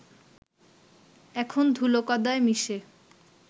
এখন ধুলো কাদায় মিশে